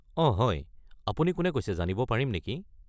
অঁ হয়। আপুনি কোনে কৈছে জানিব পাৰিম নেকি?